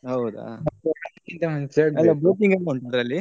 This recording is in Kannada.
ಹೌದಾ boating ಎಲ್ಲಾ ಉಂಟ ಅಲ್ಲಿ.